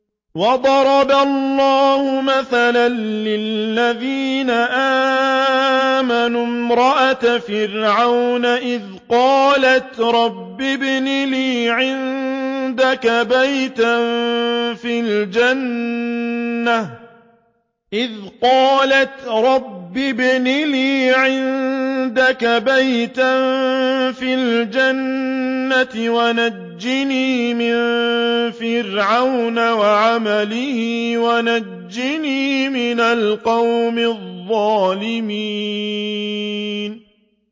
وَضَرَبَ اللَّهُ مَثَلًا لِّلَّذِينَ آمَنُوا امْرَأَتَ فِرْعَوْنَ إِذْ قَالَتْ رَبِّ ابْنِ لِي عِندَكَ بَيْتًا فِي الْجَنَّةِ وَنَجِّنِي مِن فِرْعَوْنَ وَعَمَلِهِ وَنَجِّنِي مِنَ الْقَوْمِ الظَّالِمِينَ